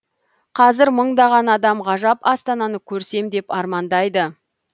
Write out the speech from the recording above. қазір мыңдаған адам ғажап астананы көрсем деп армандайды